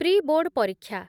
pre board ପରୀକ୍ଷା